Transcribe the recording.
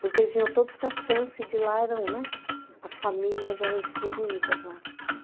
Porque eles vinham todos para Santos e de lá eram, né, as famílias eram distribuídas lá.